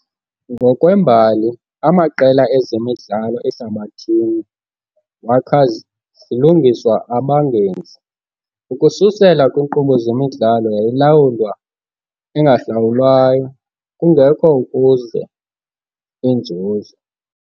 Ngokwembali, amaqela ezemidlalo ehlabathini wakha zilungiswe abangenzi, ukususela kwiinkqubo zemidlalo yayilawulwa engahlawulwayo, kungekho ukuze inzuzo.